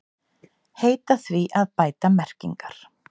Heita því að bæta merkingar